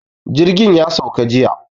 Jirgin ya sauka jiya.